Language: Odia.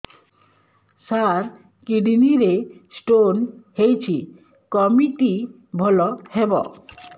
ସାର କିଡ଼ନୀ ରେ ସ୍ଟୋନ୍ ହେଇଛି କମିତି ଭଲ ହେବ